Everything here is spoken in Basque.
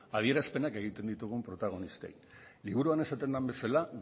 adierazpenak egiten ditugun protagonistei liburuan esaten den bezala